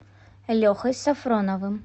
лехой софроновым